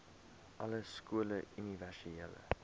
alle skole universele